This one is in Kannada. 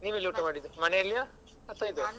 ನೀವು ಎಲ್ಲಿ ಊಟ ಮಾಡಿದ್ದು ಮನೆಯಲ್ಲಿಯ ಅಥವಾ ಇದೆಯಾ?